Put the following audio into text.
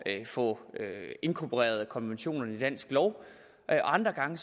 at få inkorporeret konventionerne i dansk lov og andre gange